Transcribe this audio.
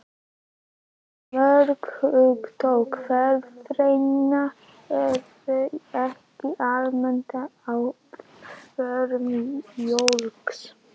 Mörg hugtök erfðafræðinnar eru ekki almennt á vörum fólks.